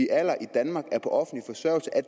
alder i danmark